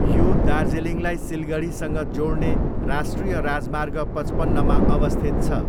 यो दार्जिलिङलाई सिलगढीसँग जोड्ने राष्ट्रिय राजमार्ग पचपन्नमा अवस्थित छ।